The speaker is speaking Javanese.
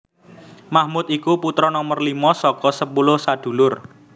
Mahmud iku putra nomer lima saka sepuluh sadulur